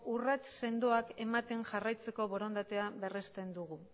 urrats sendoak ematen jarraitzeko borondatea berresten dugu